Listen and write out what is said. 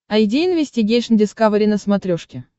айди инвестигейшн дискавери на смотрешке